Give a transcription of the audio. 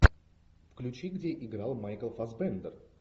включи где играл майкл фассбендер